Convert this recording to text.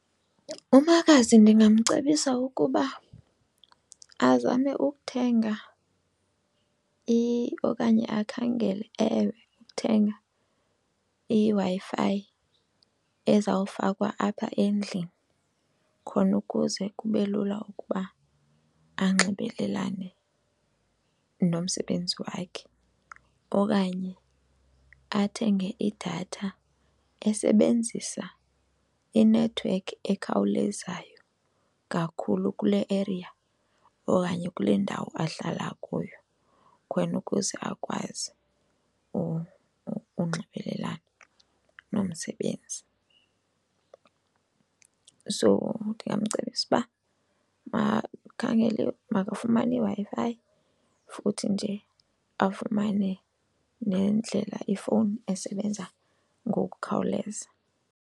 Umakazi ndingamcebisa ukuba azame ukuthenga okanye akhangele, ewe, ukuthenga iWi-Fi ezawufakwa apha endlini khona ukuze kube lula ukuba anxibelelane nomsebenzi wakhe. Okanye athenge idatha esebenzisa inethiwekhi ekhawulezayo kakhulu kule area okanye kule ndawo ahlala kuyo khona ukuze akwazi unxibelelana nomsebenzi. So ndingamcebisa uba makakhangele makafumane iWi-Fi futhi nje afumane nendlela ifowuni esebenza ngokukhawuleza.